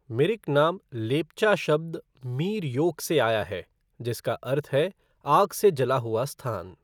मिरिक नाम लेप्चा शब्द मीर योक से आया है जिसका अर्थ है "आग से जला हुआ स्थान"।